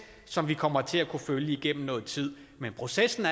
som vi kommer til at følge igennem noget tid men processen